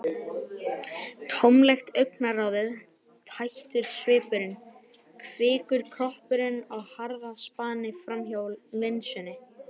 Tómlegt augnaráðið, tættur svipurinn- kvikur kroppurinn á harðaspani framhjá linsunni.